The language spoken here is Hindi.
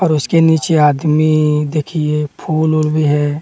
और उसके नीचे आदमी देखिए फोल उल भी है।